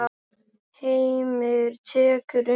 Heimir tekur undir.